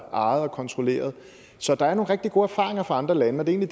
og kontrolleret så der er nogle rigtig gode erfaringer fra andre lande og det er